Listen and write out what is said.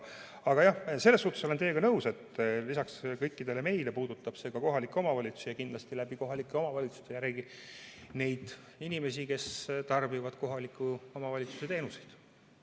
Aga jah, selles suhtes olen teiega nõus, et lisaks kõikidele meile puudutab see ka kohalikke omavalitsusi ja kindlasti kohalike omavalitsuste kaudu jällegi neid inimesi, kes tarbivad kohaliku omavalitsuse teenuseid.